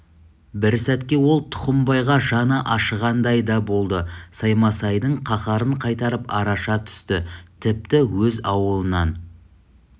бір сәтке ол тұқымбайға жаны ашығандай да болды саймасайдың қаһарын қайтарып араша түсті тіпті өз ауылынан